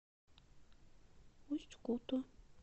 усть куту